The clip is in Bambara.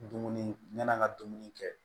Dumuni ɲana an ŋa dumuni kɛ